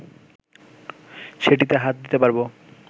সেটিতে হাত দিতে পারব